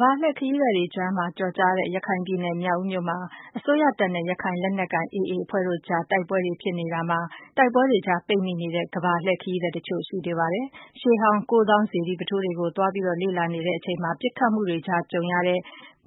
ဘာလှည့်ခရီးသည်တွေကြား ကျော်ကြားတဲ့ ရခိုင်ပြည်နယ် မြောက်ဦးမြို့မှာ အစိုးရတပ်တွေနဲ့ ရခိုင်လက်နက်ကိုင် AA အဖွဲ့တို့ကြား တိုက်ပွဲတွေ ဖြစ်ပွားနေတာမှာ တိုက်ပွဲတွေကြား ပိတ်မိနေတဲ့ ကမ္ဘာလှည့် ခရီးသည်တချို့ ရှိနေပါတယ်။ ရှေးဟောင်း ကိုးသောင်း စေတီပုထိုးတွေကို သွားလေ့လာနေစဉ် ပစ်ခတ်မှုတွေကြား ကြုံရတဲ့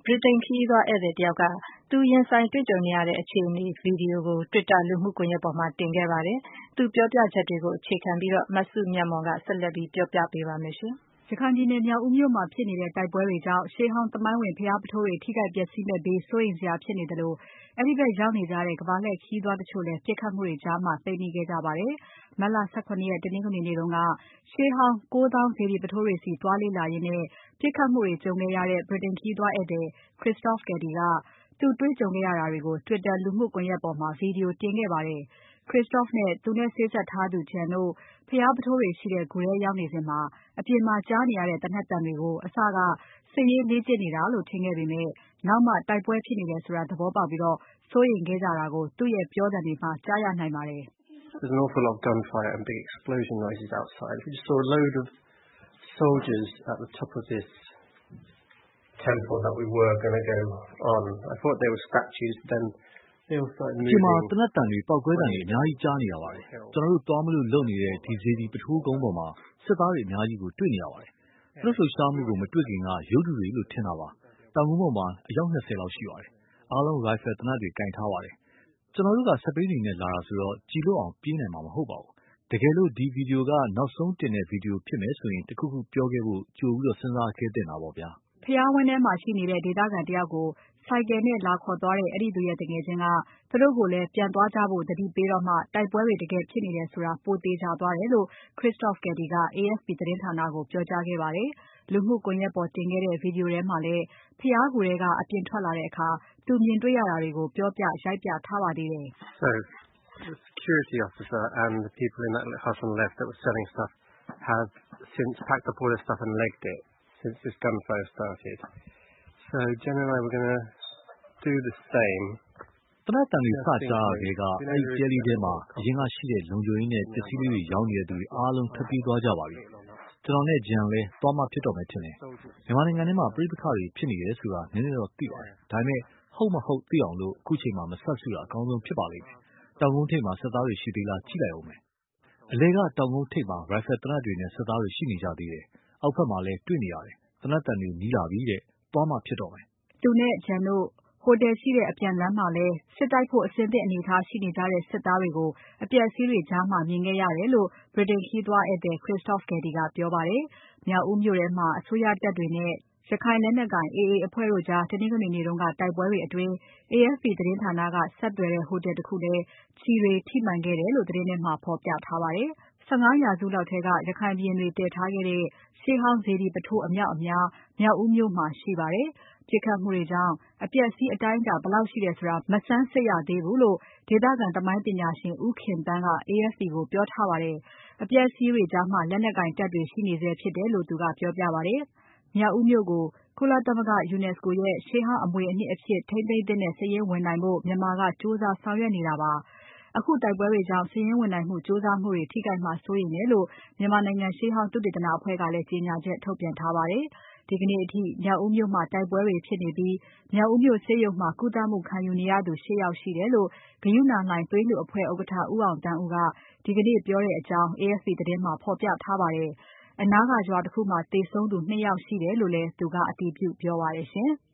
ဗြိတိန် ခရီးသွား ဧည့်သည်တယောက်က သူရင်ဆိုင်တွေ့ကြုံရတဲ့ အခြေအနေ Video ကို Twitter လူမှုကွန်ယက်ပေါ် တင်ခဲ့ပါတယ်။ သူပြောပြချက်တွေကို အခြေခံပြီး မစုမြတ်မွန်က ဆက်လက်တင်ပြပါမယ်။ ရခိုင်ပြည်နယ် မြောက်ဦးမြို့မှာဖြစ်နေတဲ့ တိုက်ပွဲတွေကြောင့် ရှေးဟောင်း သမိုင်းဝင် ဘုရားပုထိုးတွေ ထိခိုက် ပျက်စီးမယ့်ဘေး စိုးရိမ်စရာဖြစ်နေသလို အဲဒီဖက်ရောက်နေကြတဲ့ ကမ္ဘာလှည့် ခရီးသွားတချို့လည်း ပစ်ခတ်မှုကြား ပိတ်မိခဲ့ကြပါတယ်။ မတ်လ ၁၇ ရက် တနင်္ဂနွေနေ့တုန်းက ရှေးဟောင်း ကိုးသောင်း စေတီပုထိုးတွေဆီ သွားလေ့လာရင်း ပြစ်ခတ်မှုတွေ ကြုံခဲ့ရတဲ့ ဗြိတိန်ခရီးသွား ဧည့်သည် Christophe Caddy ကသူ့ကြုံတေ့ွရတာတွေကို Twitter လူမှုကွန်ယက်ပေါ်မှာ Video တင်ခဲ့ပါတယ်။ Christophe နဲ့ သူနဲ့ စေ့စပ်ထားသူ Jen တို့ ဘုရားပုထိုးတွေရှိတဲ့ ဂူထဲရောက်နေစဉ် အပြင်မှာ ကြားနေရတဲ့ သေနတ်သံတွေကို အစက စစ်ရေး လေ့ကျင့်နေတာလို့ ထင်ခဲ့ပေမဲ့ နောက်မှ တိုက်ပွဲဖြစ်နေတယ်ဆိုတာ သဘောပေါက်ပြီး စိုးရိမ်ခဲ့ကြတာကို သူ့ရဲ့ ပြောသံတွေမှာ ကြားရနိုင်ပါတယ်။ "အပြင်မှာ သေနတ်သံတွေ၊ ပေါက်ကွဲသံကြီးတွေ အများကြီး ကြားနေရပါတယ်။ ကျနော်တို့ သွားမလို့လုပ်နေတဲ့ ဒီစေတီ ပုထိုးကုန်းပေါ်မှာ စစ်သားတွေ အများကြီးကို တေ့ွနေရပါတယ်။ သူတို့လှုပ်ရှားမှုကို မတေ့ွခင်က ရုပ်တုတွေလို့ ထင်တာပါ။ တောင်ကုန်းပေါ်မှာ ၂၀ လောက်ရှိပါတယ်။ အားလုံး ရိုင်ဖယ် သေနတ်တွေကိုင်ထားကြပါတယ်။ ကျနော်တို့က စက်ဘီးတွေနဲ့ လာတာဆိုတော့ ကျည်လွတ်အောင် ပြေးနိုင်မှာ မဟုတ်ပါဘူး။ တကယ်လို့ ဒီ Video ကနောက်ဆုံးတင်တဲ့ Video ဖြစ်မယ်ဆိုရင် တခုခုပြောခဲ့ဖို့ ကြိုစဉ်းစားခဲ့သင့်တာပေါ့ဗျာ။" ဘုရားဝန်းထဲမှာရှိနေတဲ့ ဒေသခံတယောက်ကို ဆိုင်ကယ်နဲ့ လာခေါ်သွားတဲ့ အဲဒီသူရဲ့သူငယ်ချင်းက သူတို့ကိုလည်း ပြန်သွားကြဖို့ သတိပေးတော့မှ တိုက်ပွဲတွေ တကယ် ဖြစ်နေတယ်ဆိုတာ ပိုသေချာသွားတယ်လို့ Christophe Caddy က AFP သတင်းဌာနကို ပြောကြားခဲ့ပါတယ်။ လူမှုကွန်ယက်ပေါ် တင်ခဲ့တဲ့ Video ထဲမှာလည်း ဘုရားဂူထဲက အပြင်ထွက်လာတဲ့အခါ သူမြင်ရတာတွေကို ပြောပြ၊ ရိုက်ပြထားပါသေးတယ်။ "သေနတ်သံတွေ စကြားရထဲက အဲဒီတဲလေးထဲမှာ အရင်ကရှိတဲ့ လုံခြုံရေးနဲ့ ပစ္စည်းလေးတွေ ရောင်းနေတဲ့ သူတွေအားလုံး ထွက်ပြေးသွားကြပါပြီ။ ကျနော်နဲ့ Jen လည်းသွားမှ ဖြစ်တော့မယ် ထင်တယ်။ မြန်မာနိုင်ငံထဲမှာ ပဋိပက္ခတွေ ဖြစ်နေတယ်ဆိုတာ နည်းနည်းတော့ သိပါတယ်။ ဒါပေမဲ့ ဟုတ်မဟုတ် သိအောင် အခုအချိန်မှာ မစပ်စုတာ အကောင်းဆုံး ဖြစ်ပါလိမ့်မယ်။ တောင်ကုန်းထိပ်မှာ စစ်သားတွေ ရှိသေးလား ကြည့်လိုက်ဦးမယ်။ အလယ်က တောင်ကုန်းထိပ်မှာ ရိုင်ဖယ်သေနတ်တွေနဲ့ စစ်သားတွေ ရှိနေကြသေးတယ်။ အောက်ဖက်မှာလည်း တွေ့နေရတယ်။ သေနတ်သံတွေ နီးလာပြီတဲ့၊ သွားမှဖြစ်တော့မယ်။" သူနဲ့ Jen တို့ ဟိုတယ်ရှိရာ အပြန်လမ်းမှာလည်း စစ်တိုက်ဖို့ အဆင်သင့် အနေအထား ရှိနေကြတဲ့ စစ်သားတွေကို အပျက်အစီးတွေ ကြားမြင်ခဲ့ရတယ်လို့ ဗြိတိန် ခရီးသွားဧည့်သည် Christophe Caddy ကပြောပါတယ်။ မြောက်ဦးမြို့ထဲမှာ အစိုးရတပ်တွေနဲ့ ရခိုင်လက်နက်ကိုင် AA တို့ကြား တနင်္ဂနွေနေ့က တိုက်ပွဲတွေအတွင်း AFP သတင်းဌာနက ဆက်သွယ်တဲ့ ဟိုတယ်တခုလည်း ကျည်တွေ ထိမှန်ခဲ့တယ်လို့ သတင်းထဲမှာ ဖော်ပြထားပါတယ်။ ၁၅ ရာစုလောက်ထဲက ရခိုင်ဘုရင်တွေ တည်ထားခဲ့တဲ့ ရှေးဟောင်း စေတီပုထိုး အမြောက်အများ မြောက်ဦးမြို့မှာ ရှိပါတယ်။ ပစ်ခတ်မှုတွေကြောင့် ပျက်စီးမှု အတိုင်းအတာ ဘယ်လောက်ရှိတယ်ဆိုတာ မဆန်းစစ်ရသေးဘူးလို့ ဒေသခံ သမိုင်းပညာရှင် ဒေါ်ခင်သန်းက AFP ကိုပြောထားပါတယ်။ အပျက်အစီးတွေကြားမှာ လက်နက်ကိုင်တပ်တွေ ရှိနေဆဲဖြစ်တယ်လို့ သူကပြောပါတယ်။ မြောက်ဦးမြို့ကို UNESCO ရဲ့ ရှေးဟောင်း အမွေအနှစ်အဖြစ် ထိန်းသိမ်းသင့်တဲ့ စာရင်းဝင်နိုင်ဖို့ မြန်မာက ကြိုးစား ဆောင်ရွက်နေတာပါ။ အခုတိုက်ပွဲတွေကြောင့် စာရင်းဝင်နိုင်မှု ကြိုးစားနေတာတွေ ထိခိုက်မှာ စိုးရိမ်တယ်လို့ မြန်မာနိုင်ငံ ရှေးဟောင်း သုတေသနပညာအသင်းက ထုတ်ပြန် ထားပါတယ်။ ဒီကနေ့အထိ မြောက်ဦးမြို့မှာ တိုက်ပွဲတွေဖြစ်နေပြီး မြောက်ဦးမြို့ဆေးရုံမှာ ကုသမှုခံယူနေရသူ ၈ ယောက်ရှိတယ်လို့ ဂရုဏာလှိုင်သွေးလှူအဖွဲ့ ဥက္ကဋ္ဌ ဦးအောင်သန်းဦးက ဒီကနေ့ ပြောကြောင်း APF သတင်းမှာ ဖော်ပြထားပါတယ်။ အနားက ရွာတခုမှာ သေဆုံးသူ ၂ ယောက်ရှိတယ်လို့လည်း သူက အတည်ပြု ပြောပါတယ်။